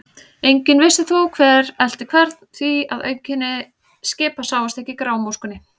Enginn vissi þó, hver elti hvern, því að auðkenni skipa sáust ekki í grámóskunni.